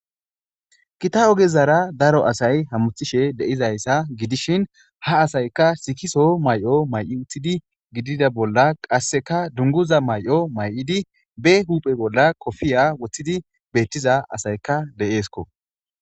Kita ogezara daro asay hamuthishe deizayssa gidishin ha asaykka sikiso may7o may7i uttidi gidida bolla qasseka dunguza may7o may7idi be huuphe bolla kofiya woththidi beettiza asayka de7eesko.